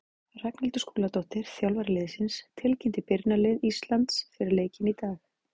Ragnhildur Skúladóttir, þjálfari liðsins, tilkynnti byrjunarlið Íslands fyrir leikinn í dag.